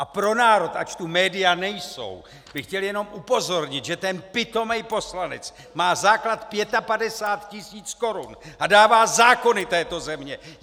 A pro národ, ač tu média nejsou, bych chtěl jenom upozornit, že ten pitomej poslanec má základ 55 tisíc korun a dává zákony této země!